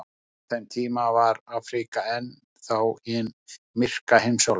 Á þeim tíma var Afríka enn þá hin myrka heimsálfa.